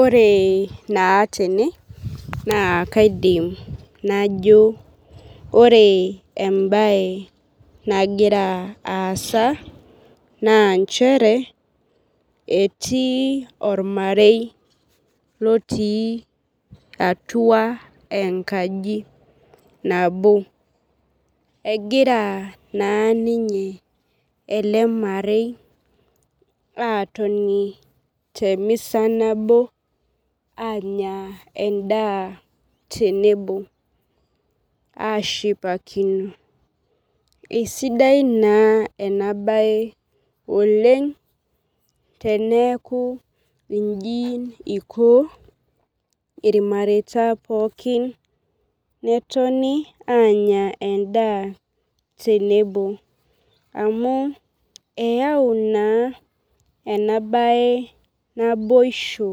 Ore naa tene naa kaidim najo ore ebae nagira asa naa nchere etii ormarei loti atua enkaji nabo. Egira naa ninye ele marei atoni te misa nabo anya edaa tenebo ashipakino. Esidai naa ena bae Oleng' teneeku ijin iko ilmareta pookin netoni anya edaa tenebo amuu eyau naa ena bae naboisho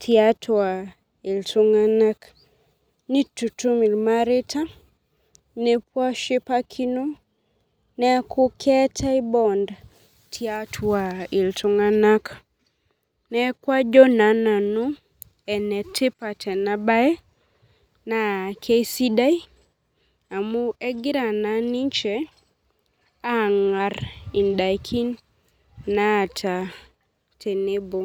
tiatua iltung'anak. Nitutum ilmareta nepuo ashipakino neeku keetae bond tiatua iltung'anak neeku ajo naa nanu ene tipat ena bae naa keisidai amu egira naa ninche ang'ar idaikin naata tenebo.